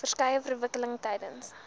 verskeie verwikkelinge tydens